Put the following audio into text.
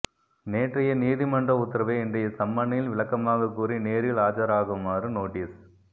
நேற்றைய நீதிமன்ற உத்தரவை இன்றைய சம்மனில் விளக்கமாக கூறி நேரில் ஆஜராகுமாறு நோட்டீஸ்